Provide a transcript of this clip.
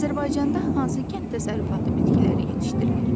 Azərbaycanda hansı kənd təsərrüfatı bitkiləri yetişdirilir?